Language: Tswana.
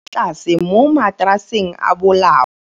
tlasê mo mataraseng a bolaô.